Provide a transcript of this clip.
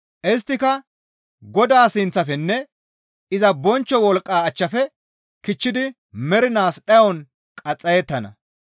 Isttika Godaa sinththafenne iza bonchcho wolqqaa achchafe kichchidi mernaas dhayon qaxxayettana.